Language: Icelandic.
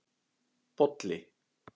Bolli